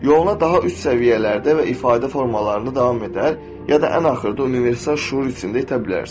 Yoluna daha üst səviyyələrdə və ifadə formalarında davam edər, ya da ən axırda universal şüur içində itə bilərsən.